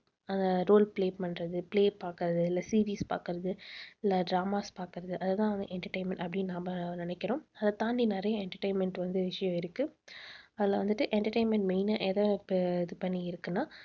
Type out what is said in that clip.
அஹ் role play பண்றது play பாக்கறது இல்ல series பாக்கறது இல்ல dramas பாக்கறது அதுதான் entertainment அப்படின்னு நாம நினைக்கிறோம். அதைத் தாண்டி நிறைய entertainment வந்து விஷயம் இருக்கு அதுல வந்துட்டு entertainment main ஆ எதை இது பண்ணி இருக்குன்னா